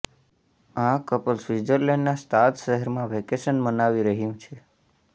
આ કપલ સ્વિટઝરલેન્ડનાં સ્તાદ શહેરમાં વેકેશન મનાવી રહ્યું છે